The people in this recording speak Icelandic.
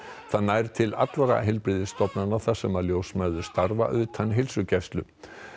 það nær til allra heilbrigðisstofnana þar sem ljósmæður starfa utan heilsugæslu